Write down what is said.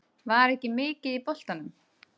Var ekki mikið í boltanum.